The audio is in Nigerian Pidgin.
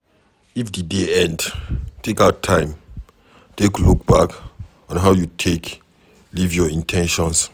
if di day end, take out time take look back on how you take live your in ten tions